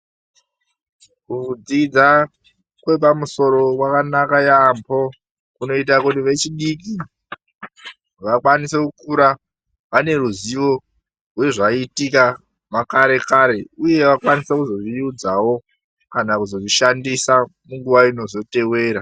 Kudzidza kwepamusoro kwakanaka yambo ,kunoita kuti vechidiki vakwanise kukura vane ruzivo rwezvaiitika makare kare uye vakwanise kuzozviudzawo kana kuzozvishandisa munguva inozotevera .